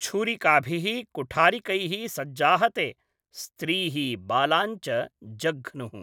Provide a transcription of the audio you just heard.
छूरिकाभिः कुठारिकैः सज्जाः ते, स्त्रीः बालान् च जघ्नुः।